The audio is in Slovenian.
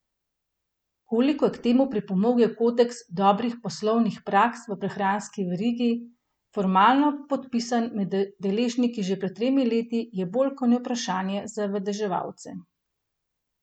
Koliko je k temu pripomogel kodeks dobrih poslovnih praks v prehranski verigi, formalno podpisan med deležniki že pred tremi leti, je bolj ko ne vprašanje za vedeževalce.